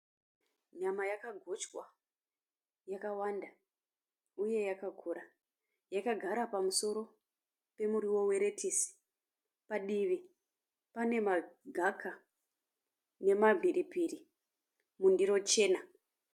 Nyama yakagochwa yakawanda uye yakakura. Yakagara pamusoro pemuriwo weretisi. Padivi panemagaka nemamhiripiri mundiro chena.